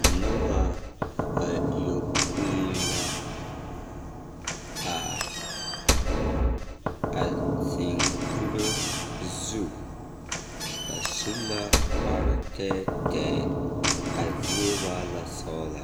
Noba bayopoi la a zeŋ kuro zu. Ba su la kpar tɛɛtɛɛ. A zie waa la sɔgla.